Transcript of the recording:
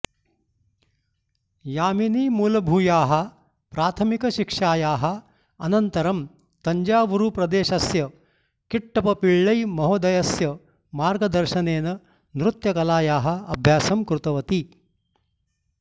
यामिनी मूलभूयाः प्राथमिकशिक्षायाः अनन्तरं तञ्जावूरुप्रदेशस्य किट्टप्प पिळ्ळै महोदयस्य मार्गदर्शनेन नृत्यकलायाः अभ्यासं कृतवती